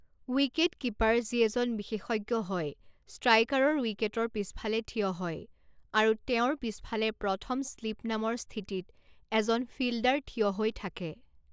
Wicket keeper যি এজন বিশেষজ্ঞ হয় ষ্ট্ৰাইকাৰৰ উইকেটৰ পিছফালে থিয় হয় আৰু তেওঁৰ পিছফালে প্ৰথম শ্লিপ নামৰ স্থিতিত এজন ফিল্ডাৰ থিয় হৈ থাকে।